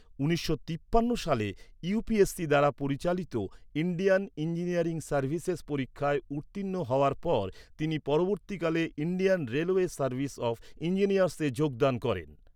উনিশশো তিপ্পান্ন সালে ইউ.পি.এস.সি দ্বারা পরিচালিত ইন্ডিয়ান ইঞ্জিনিয়ারিং সার্ভিসেস পরীক্ষায় উত্তীর্ণ হওয়ার পর তিনি পরবর্তীকালে ইন্ডিয়ান রেলওয়ে সার্ভিস অফ ইঞ্জিনিয়ার্সে যোগদান করেন।